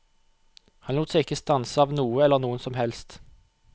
Han lot seg ikke stanse av noe eller noen som helst.